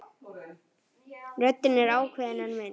Röddin er ákveðin en mild.